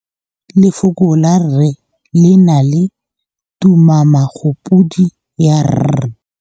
Lefoko la rre le na le tumammogôpedi ya, r.